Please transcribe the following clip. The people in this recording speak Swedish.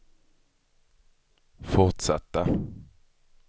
fortsatta